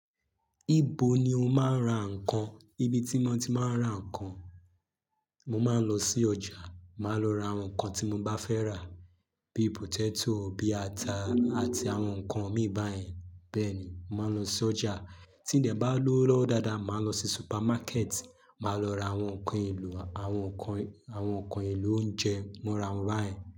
Ibo ni o máa ń ra ǹkan? Ibi tí mo ti máa ń ra nǹkan, mo máa ń lọ sí ọjà, màá lọ ra àwọn nǹkan tí mo bá fẹ́ rà, bíi potato, bíi ata àti àwọn nǹkan mìí báyẹn. Bẹ́ẹ̀ ni, màá n lọ sí ọjà. Tí n dẹ bá lowo lọwọ dáadáa, màá lọ sí supermarket, màá lọ ra àwọn nǹkan elo, àwọn nǹkan, àwọn nǹkan elo oúnjẹ mọra wọ́n báyẹn.